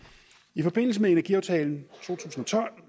i forbindelse med energiaftalen